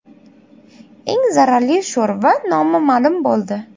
Eng zararli sho‘rva nomi ma’lum bo‘ldi.